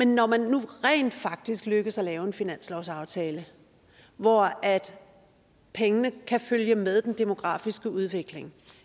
når man nu rent faktisk lykkes med at lave en finanslovsaftale hvor pengene kan følge med den demografiske udvikling